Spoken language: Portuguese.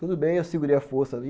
Tudo bem, eu segurei a força ali.